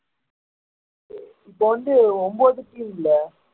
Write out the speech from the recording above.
இப்போ வந்து ஒன்பது team இல்ல